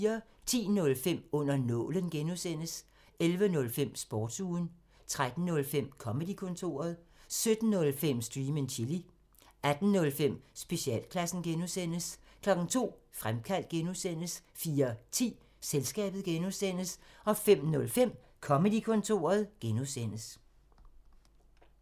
10:05: Under nålen (G) 11:05: Sportsugen 13:05: Comedy-kontoret 17:05: Stream and chill 18:05: Specialklassen (G) 02:00: Fremkaldt (G) 04:10: Selskabet (G) 05:05: Comedy-kontoret (G)